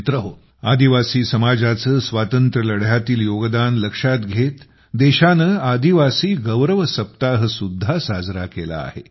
मित्रहो आदिवासी समाजाचे स्वातंत्र्य लढ्यातील योगदान लक्षात घेत देशाने आदिवासी गौरव सप्ताहसुद्धा साजरा केला आहे